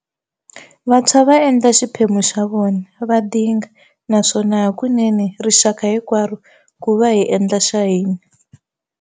Vantshwa va endla xiphemu xa vona, va dinga, naswona hakunene, rixaka hinkwaro, ku va hi endla xa hina.